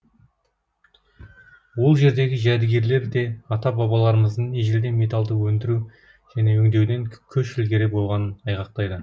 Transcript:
ол жердегі жәдігерлер де ата бабаларымыздың ежелден металды өндіру және өңдеуден көш ілгері болғанын айғақтайды